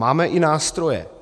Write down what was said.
Máme i nástroje.